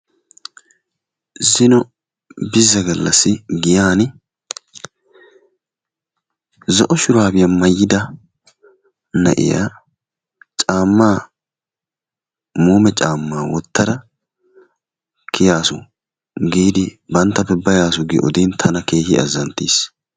Zino bizza gallassi giyaan zo'o shuraabiya mayyida na'iya caammaa muume caammaa wottada kiyaasu giidi i banttappe bayaasu giidi odin tana keehi azanttiis.